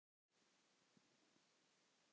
Þín Signý Lind.